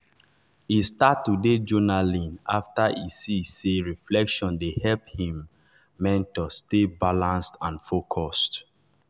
e start to dey journaling after e see say reflection dey help him mentor stay balanced and focused.